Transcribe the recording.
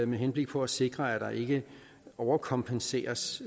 med henblik på at sikre at der ikke overkompenseres